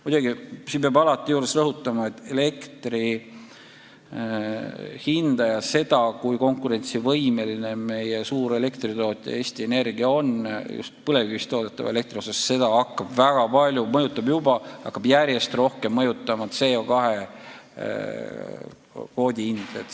Muidugi, alati peab rõhutama, et elektri hinda ja seda, kui konkurentsivõimeline meie suur elektritootja Eesti Energia just põlevkivielektri tootmisel on, hakkab väga palju mõjutama – see mõjutab juba praegu, aga hakkab järjest rohkem mõjutama – CO2 kvoodi hind.